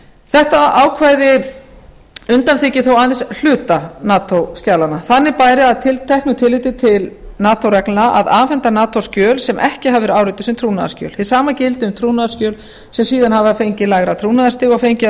þetta ákvæði undanþiggur þó aðeins hluta nato skjala þannig bæri að teknu tilliti til nato reglna að afhenda nato skjöl sem ekki hafa verið árituð sem trúnaðarskjöl hið sama gildi um trúnaðarskjöl sem síðar hafa fengið lægra trúnaðarstig og fengið að